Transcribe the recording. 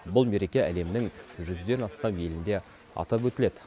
бұл мереке әлемнің жүзден астам елінде атап өтіледі